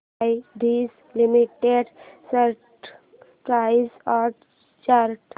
ITC limited stock price and chart